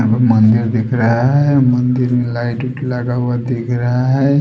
मंदिर दिख रहा है मंदिर में लाइट लगा हुआ दिख रहा है।